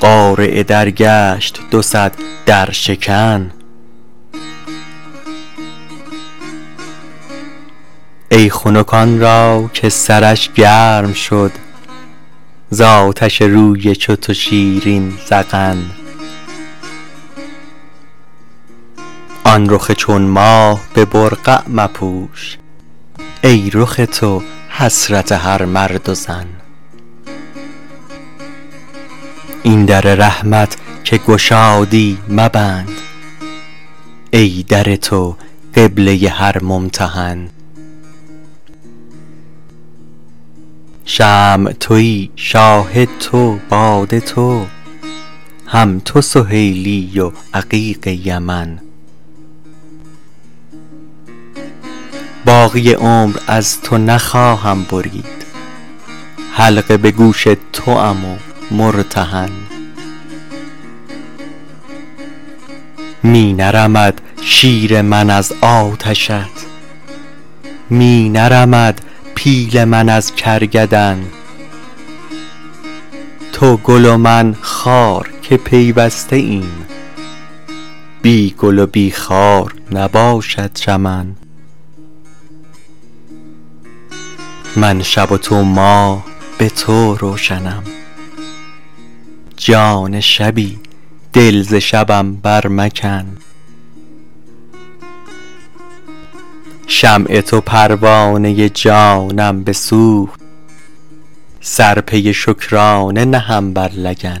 قارع در گشت دو صد درشکن ای خنک آن را که سرش گرم شد ز آتش روی چو تو شیرین ذقن آن رخ چون ماه به برقع مپوش ای رخ تو حسرت هر مرد و زن این در رحمت که گشادی مبند ای در تو قبله هر ممتحن شمع توی شاهد تو باده تو هم تو سهیلی و عقیق یمن باقی عمر از تو نخواهم برید حلقه به گوش توام و مرتهن می نرمد شیر من از آتشت می نرمد پیل من از کرگدن تو گل و من خار که پیوسته ایم بی گل و بی خار نباشد چمن من شب و تو ماه به تو روشنم جان شبی دل ز شبم برمکن شمع تو پروانه جانم بسوخت سر پی شکرانه نهم بر لگن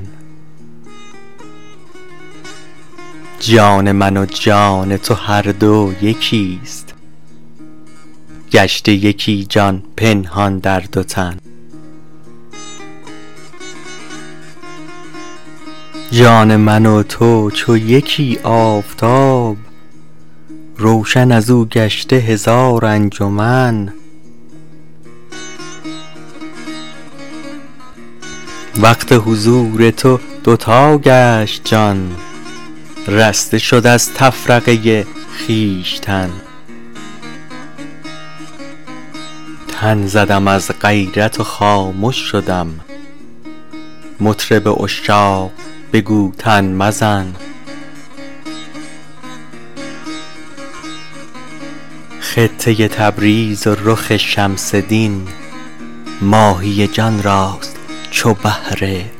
جان من و جان تو هر دو یکی است گشته یکی جان پنهان در دو تن جان من و تو چو یکی آفتاب روشن از او گشته هزار انجمن وقت حضور تو دو تا گشت جان رسته شد از تفرقه خویشتن تن زدم از غیرت و خامش شدم مطرب عشاق بگو تن مزن خطه تبریز و رخ شمس دین ماهی جان راست چو بحر عدن